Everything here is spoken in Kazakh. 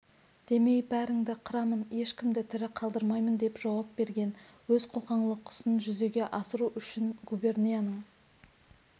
демей бәріңді қырамын ешкімді тірі қалдырмаймын деп жауап берген өз қоқан-лоққысын жүзеге асыру үшін губернияның